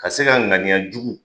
Ka se ka ŋaniya jugu